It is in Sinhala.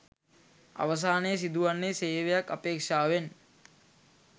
අවසානයේ සිදුවන්නේ සේවයක් අපේක්ෂාවෙන්